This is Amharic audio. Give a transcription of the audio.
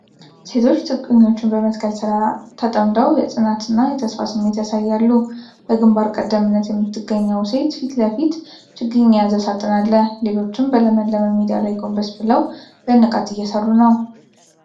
ሴቶች ችግኞችን በመትከል ሥራ ተጠምደው የጽናት እና የተስፋ ስሜት ያሳያሉ። በግንባር ቀደምትነት ከምትገኘው ሴት ፊት ለፊት ችግኝ የያዘ ሳጥን አለ፤ ሌሎችም በለመለመ ሜዳ ላይ ጎንበስ ብለው በንቃት እየሰሩ ነው።|